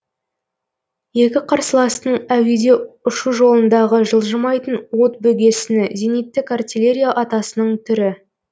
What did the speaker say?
екі қарсыластың әуеде ұшу жолындағы жылжымайтын от бөгесіні зениттік артиллерия атысының түрі